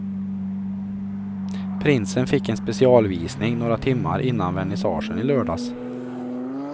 Prinsen fick en specialvisning några timmar innan vernissagen i lördags.